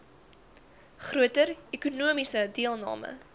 groter ekonomiese deelname